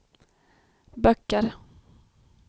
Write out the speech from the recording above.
böcker